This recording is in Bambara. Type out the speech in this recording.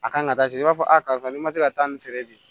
A kan ka taa se i b'a fɔ a karisa ni ma se ka taa nin feere bi